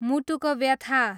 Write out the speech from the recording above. मुटुको व्यथा